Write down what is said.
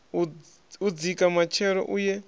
u dzika matshelo u ye